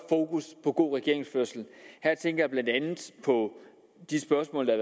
fokus på god regeringsførelse her tænker jeg blandt andet på de spørgsmål der